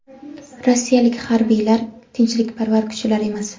rossiyalik harbiylar tinchlikparvar kuchlar emas.